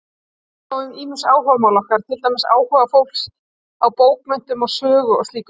Hvað þá um ýmis áhugamál okkar, til dæmis áhuga fólks á bókmenntum, sögu og slíku?